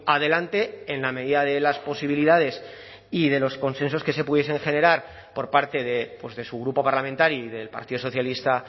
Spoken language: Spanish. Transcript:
adelante en la medida de las posibilidades y de los consensos que se pudiesen generar por parte de su grupo parlamentario y del partido socialista